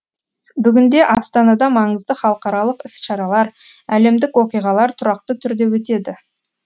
бүгінде астанада маңызды халықаралық іс шаралар әлемдік оқиғалар тұрақты түрде өтеді